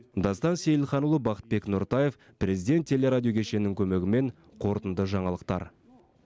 дастан сейілханұлы бақытбек нұртаев президент телерадио кешенінің көмегімен қорытынды жаңалықтар